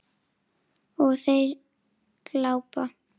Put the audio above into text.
Og þeir glápa.